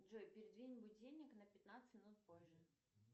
джой передвинь будильник на пятнадцать минут позже